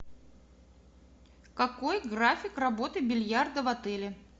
какой график работы бильярда в отеле